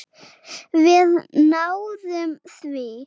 Við náðum því.